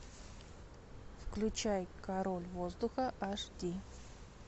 включай король воздуха аш ди